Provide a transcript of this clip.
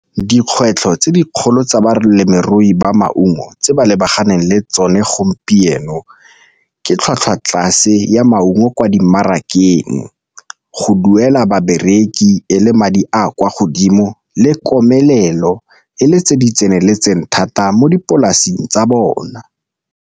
Dikgwetlho tse dikgolo tsa balemirui ba maungo tse ba lebaganeng le tsone gompieno ke tlhwatlhwa tlase ya maungo kwa dimarakeng, go duela babereki e le madi a kwa godimo le komelelo le tse di tseneletseng thata mo dipolaseng tsa bona.